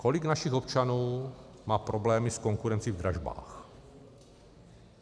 Kolik našich občanů má problémy s konkurencí v dražbách?